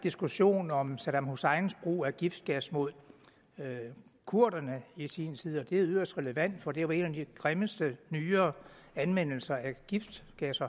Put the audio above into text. diskussion om saddam husseins brug af giftgas mod kurderne i sin tid og det er yderst relevant for det var en af de grimmeste nyere anvendelser af giftgas